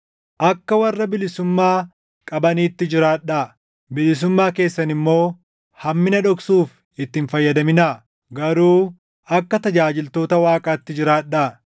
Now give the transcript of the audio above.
Akka warra bilisummaa qabaniitti jiraadhaa; bilisummaa keessan immoo hammina dhoksuuf itti hin fayyadaminaa; garuu akka tajaajiltoota Waaqaatti jiraadhaa.